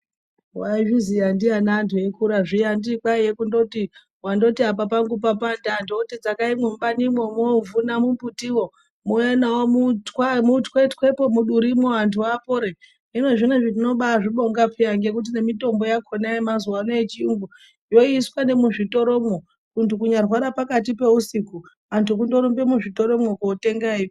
Waizviziya ndiani zviya anhu eikura zviya anditi kwaiye kundoti wandoti apa pangu papanda antu oti dzakai mubanimwo mwovhuna mumbuti wo mwouya nawo mutwetwe mudurimwo antu apore hino zvinozvi tinobaazvibonga peya ngekuti nemitombo yakona yemazuwa ano yechiyungu yoiswa nemuzvitoro mwo muntu kunyarwara pakati peusiku antu kundorumbe muzvitoro mwo kootenga eimwa.